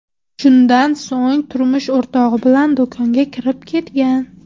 Shundan so‘ng turmush o‘rtog‘i bilan do‘konga kirib ketgan.